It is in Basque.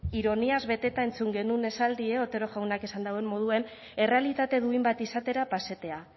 ironiaz beteta entzun genuen esaldia otero jaunak esan duen moduan errealitate duin bat izatera pasatea